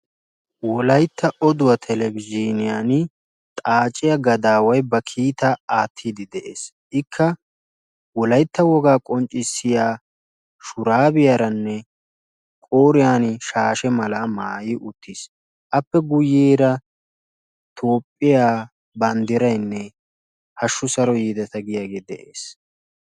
woalaytta oduwaa talbainiyani kiitaa aatidi deesi ikka wogaa maayuwa maayi uttisi aappe guyessarakka hasu saro yeta yaagiyaa xuufekka beettessi.